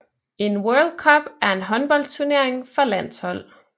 En World Cup er en håndboldturnering for landshold